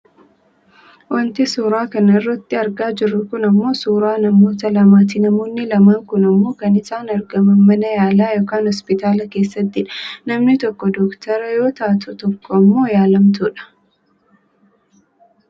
Wanti suuraa kana irratti argaa jirru kun ammoo suuraa namoota lamaati. Namoonni lamaan kun ammoo kan isaan argaman mana yaalaa yookaan hospitaala keessattidha. Namni tokko doctorate yoo taatu tokko ammoo yaallamtuudha.